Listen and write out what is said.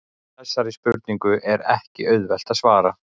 Þessari spurningu er ekki auðvelt að svara.